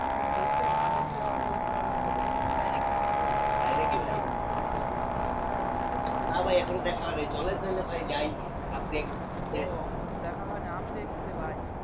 আপনি কি দেখসেন? না দেখলে কিন্তু ওই spoiler হয়ে যাবে। তাই নাকি। কথা বলবো না। তাই নাকি ভাই? হ্যাঁ হ্যাঁ দেখসেন নাকি? না ভাই এখনো দেখা হয় নাই চলেন তাহলে ভাই যাই আপনি একদিন। ও দেখা হয় নাই আমি দেখসি যে ভাই।